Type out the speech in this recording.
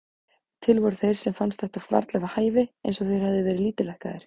Til voru þeir sem fannst þetta varla við hæfi, eins og þeir hefðu verið lítillækkaðir.